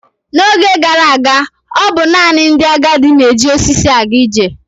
N'oge gara aga, ọ bụ naanị ndị agadi na-eji osisi aga ije.